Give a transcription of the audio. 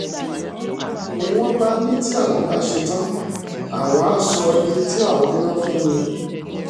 ni wọ́n bá ní tí àwọn bá ṣẹ̀tàn àwọn àá sọ iye tí àwọn bá ná fún mi